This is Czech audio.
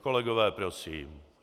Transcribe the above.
Kolegové, prosím.